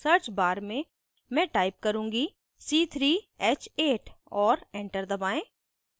search bar में मैं type करुँगी c3h8 और enter दबाएं